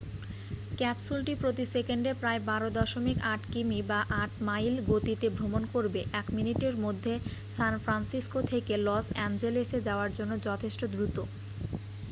ক্যাপসুলটি প্রতি সেকেন্ডে প্রায় 12.8 কিমি বা 8 মাইল গতিতে ভ্রমণ করবে এক মিনিটের মধ্যে সান ফ্রান্সিসকো থেকে লস অ্যাঞ্জেলেসে যাওয়ার জন্য যথেষ্ট দ্রুত